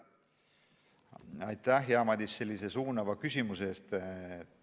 Aitäh, hea Madis, sellise suunava küsimuse eest!